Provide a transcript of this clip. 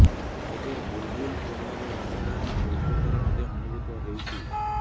ତେବେ ବୁଲବୁଲ ପ୍ରଭାବ ରାଜଧାନୀ କୋଲକାତାରେ ମଧ୍ୟ ଅନୁଭୂତ ହେଉଛି